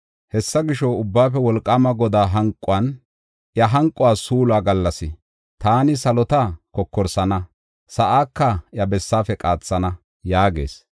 Hessa gisho, Ubbaafe Wolqaama Godaa hanquwan, iya hanquwa suulaa gallas, taani salota kokorsana; sa7aaka iya bessaafe qaathana” yaagees.